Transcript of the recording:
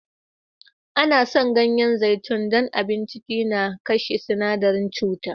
An san ganyen zaitun don abun ciki na kashe sinadaren cuta.